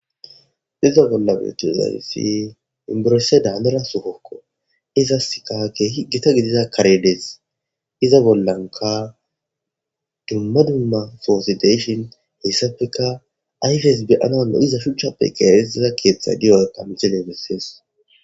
Iza bolla beotozayssi imburese daanera sufokko iza sikake higgita gidida karedees iza bollanka dumma dumma foosideshon hessafeka ayfeys beyana ulno iza shuchchappe qeeetida keeththa diyo tamicelemisees.